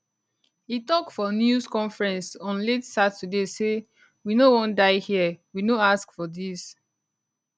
e tok for news conference on late saturday say we no wan dey hia we no ask for dis